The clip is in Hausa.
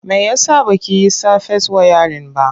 Me ya sa ba ki yi safes wayarin ba?